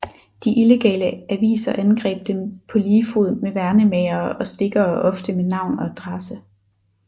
De illegale aviser angreb dem på lige fod med værnemagere og stikkere ofte med navn og adresse